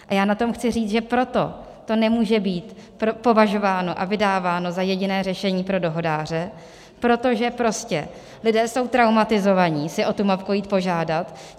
A já na tom chci říct, že proto to nemůže být považováno a vydáváno za jediné řešení pro dohodáře, protože prostě lidé jsou traumatizovaní si o tu mopku jít požádat.